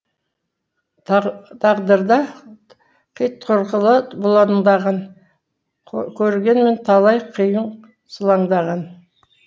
тағдырда қитұрқылы бұлаңдаған көргенмін талай қайың сылаңдаған